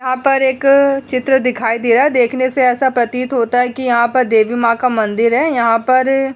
यहाँ पर एक चित्र दिखाई दे रहा है। देखने से ऐसा प्रतीत होता है कि यहाँ प देवी माँ का मंदिर है। यहाँ पर --